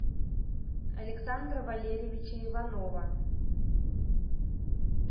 александра валерьевича иванова